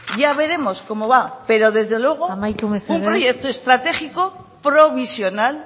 ya veremos cómo va amaitu mesedez pero desde luego un proyecto estratégico provisional